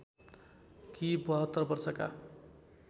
कि ७२ वर्षका